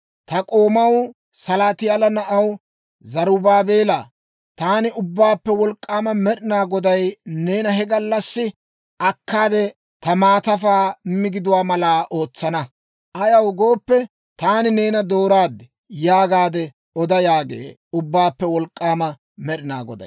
Ta k'oomaw, Salaatiyaala na'aw Zerubaabeelaa, taani Ubbaappe Wolk'k'aama Med'inaa Goday neena he gallassi akkaade ta maatafaa migiduwaa mala ootsana. Ayaw gooppe, taani neena dooraaddi› yaagaade oda» yaagee Ubbaappe Wolk'k'aama Med'inaa Goday.